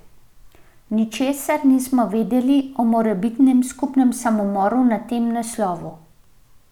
Ničesar niso vedeli o morebitnem skupinskem samomoru na tem naslovu.